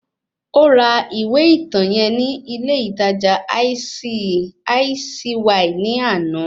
Ó ra ìwé ìtàn yẹn ní ilé ìtajà Icy ní àná